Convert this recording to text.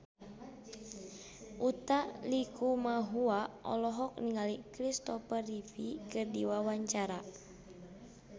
Utha Likumahua olohok ningali Kristopher Reeve keur diwawancara